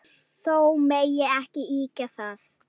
Þó megi ekki ýkja það.